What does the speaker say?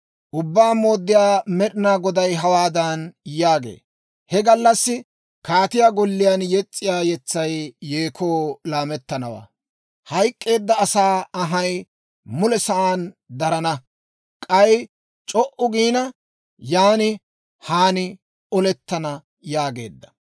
Ubbaa Mooddiyaa Med'inaa Goday hawaadan yaagee; «He gallassi kaatiyaa golliyaan yes's'iyaa yetsay yeekoo laamettanawaa; hayk'k'eedda asaa anhay mule sa'aan darana; k'ay c'o"u giina, yan haan olettana» yaagee.